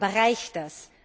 Aber reicht das?